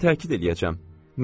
Mən təkid eləyəcəm.